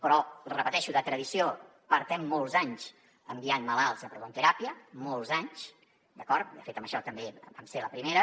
però ho repeteixo de tradició portem molts anys enviant malalts a prototeràpia molts anys d’acord de fet en això també vam ser la primera